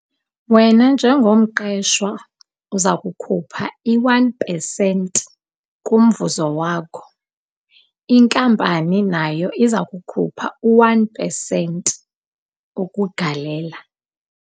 Wena njengomqeshwa uza kukhupha i-one pesenti kumvuzo wakho, inkampani nayo iza kukhupha u-one pesenti ukugalela.